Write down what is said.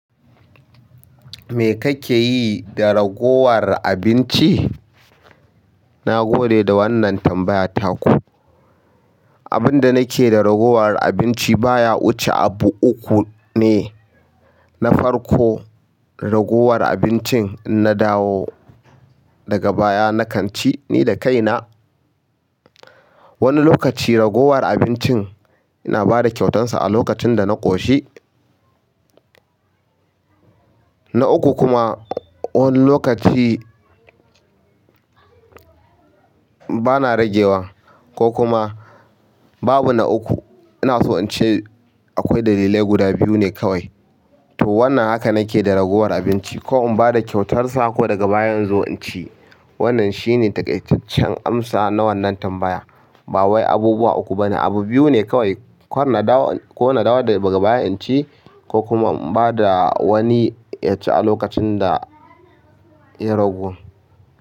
Me kake yi da ragowar abinci? Na gode da wannan tambayar taku. Abin da nake da ragowar abinci baya wuce abu uku ne. Na farko, ragowar abincin in na dawo daga baya na kan ci ni da kaina. Wani lokaci ragowar abincin ina ba da kyautarsa a lokacin da na ƙoshi. Na uku kuma wani lokaci bana rage wa ko kuma babu na uku. Ina so in ce akwai dalilai guda biyu ne kawai. To wannan haka nake da ragowar abinci ko in ba da kyautarsa ko daga baya in zo in ci. Wannan shi ne taƙaitaccen amsa na wannan tambaya. Ba wai abubuwa uku ba ne, abu biyu ne kawai. Ko na dawo daga baya in ci ko kuma in ba da wani ya ci a lokacin da ya ragu.